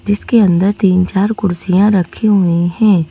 जिसके अंदर तीन-चार कुर्सियां रखी हुई हैं।